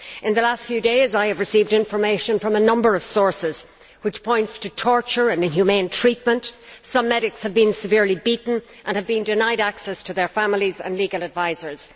In the last few days, I have received information from a number of sources which points to torture and inhumane treatment some medics have been severely beaten and have been denied access to their families and legal advisers.